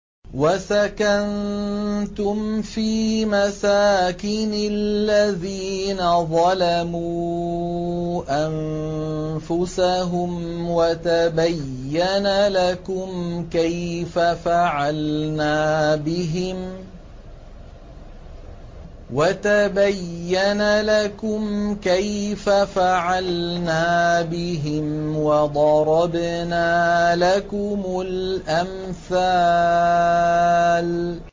وَسَكَنتُمْ فِي مَسَاكِنِ الَّذِينَ ظَلَمُوا أَنفُسَهُمْ وَتَبَيَّنَ لَكُمْ كَيْفَ فَعَلْنَا بِهِمْ وَضَرَبْنَا لَكُمُ الْأَمْثَالَ